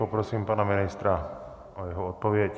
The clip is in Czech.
Poprosím pana ministra o jeho odpověď.